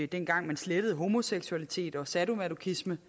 dengang man slettede homoseksualitet og sadomasochisme